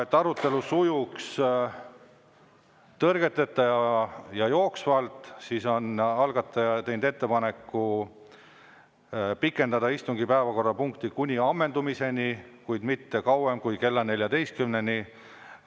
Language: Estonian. Et arutelu sujuks tõrgeteta ja jooksvalt, siis on algatajad teinud ettepaneku pikendada istungit päevakorrapunkti ammendumiseni, kuid mitte kauem kui kella 14-ni.